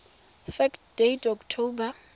fact date october